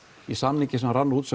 í samningi sem rann út